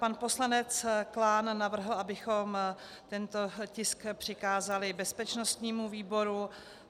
Pan poslanec Klán navrhl, abychom tento tisk přikázali bezpečnostnímu výboru.